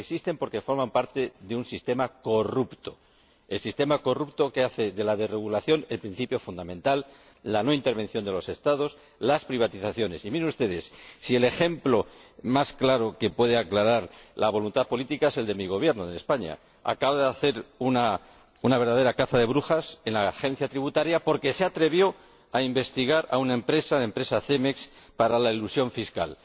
Y existen porque forman parte de un sistema corrupto el sistema corrupto que hace de la desregulación el principio fundamental, con la no intervención de los Estados y las privatizaciones. Y, miren ustedes, el ejemplo más claro que puede mostrar la voluntad política es el de mi Gobierno, en España acaba de hacer una verdadera caza de brujas en la Agencia Tributaria porque esta se atrevió a investigar a una empresa, la empresa Cemex, por elusión fiscal.